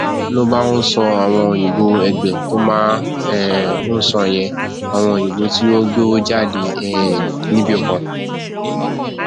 ló bá ń sọ àwọn òyìnbó ẹgbẹ tó máa um ń sọ yẹn àwọn òyìnbó tí ó gbowó jáde um níbì kan